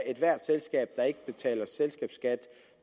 ethvert selskab der ikke betaler selskabsskat